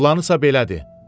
Planısa belədir.